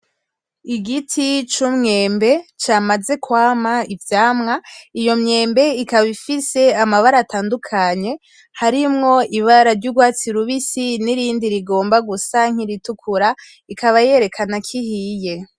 Igiti c'umwembe ca maze kwama ivyamwa, iyo myembe ikaba ifise amabara atandukanye harimwo ibara ry'ugwatsi rubisi; n'irindi rigomba gusa nk'iritukura, ikaba yerekana k'ihiye.